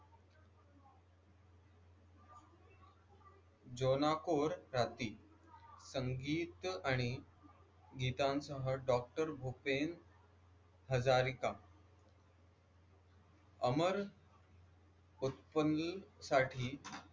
जॉना कोर राहती संगीत आणि गीतम हा डॉक्टर भूपेन हजारीता अमर उत्पन्नासाठी